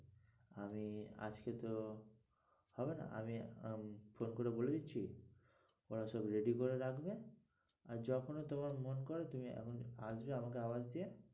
আমি আজকে তো হবে না আমি আহ phone করে বলেদিচ্ছি ওরা সব ready করে রাখবে আর যখনি তোমার মন করে আসবে আমাকে আওয়াজ দিয়ে,